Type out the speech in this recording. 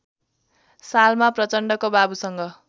सालमा प्रचण्डको बाबुसँग